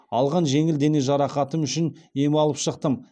алған жеңіл дене жарақатым үшін ем алып шықтым